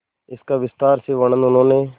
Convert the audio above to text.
इसका विस्तार से वर्णन उन्होंने